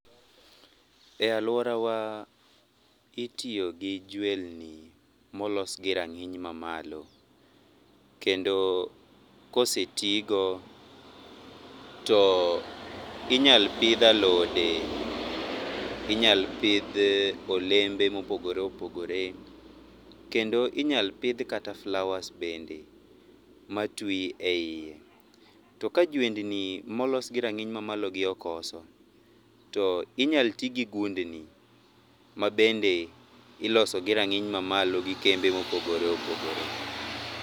E aluorawa itiyogi jwelni molosgi rang'iny mamalo kendo kosetigo, too inyal pidh alode, inyal pidh olembe mopogore opogore. Kendo inyal pidh kata flowers bende matwi eiye. To kajwendni molos gi rang'iny mamalogi okoso to inyal tigi gundni mabende iloso gi rang'iny mamalo gikembe ma opogore opogore.